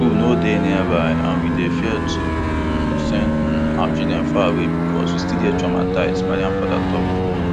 no school nearby and we dey fear to um send um our children far away becos we still dey traumatised mariam father tok